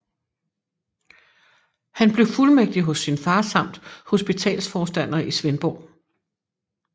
Han blev fuldmægtig hos sin far samt hospitalsforstander i Svendborg